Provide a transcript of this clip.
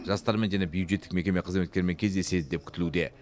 жастармен және бюджеттік мекеме қызметкерімен кездеседі деп күтілуде